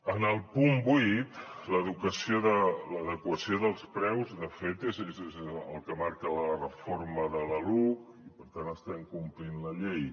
en el punt vuit l’adequació dels preus de fet és el que marca la reforma de la luc i per tant estem complint la llei